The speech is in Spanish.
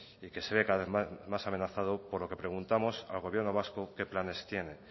y que se ve cada vez más amenazado por lo que preguntamos al gobierno vasco qué planes tiene